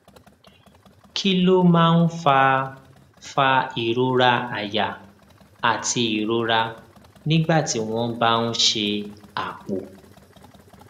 kí ló máa ń fa fa ìrora àyà àti ìrora nígbà tí wón bá ń ṣe àpò